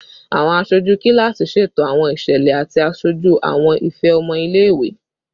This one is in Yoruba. Awọn aṣoju kilasi ṣeto awọn iṣẹlẹ ati aṣoju awọn ifẹ ọmọ ile-iwe